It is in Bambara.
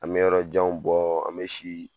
An mɛ yɔrɔ jan bɔ, an mɛ si